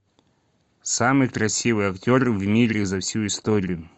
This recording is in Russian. самый красивый актер в мире за всю историю